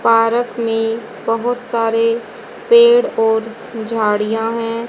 Park में बहोत सारे पेड़ और झाड़ियां हैं।